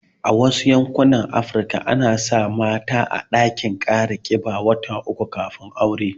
A Wasu yankunan Afirka suna sa mata a ɗakin kara kiba wata uku kafin aure